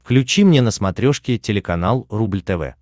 включи мне на смотрешке телеканал рубль тв